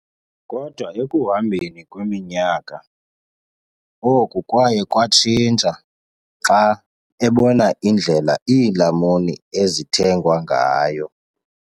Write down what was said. Kodwa ekuhambeni kweminyaka, oku kwaye kwatshintsha xa ebona indlela iilamuni ezithengwa ngayo.